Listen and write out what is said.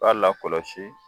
I b'a lakɔlɔsi